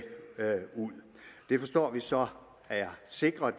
ud det forstår vi så er sikret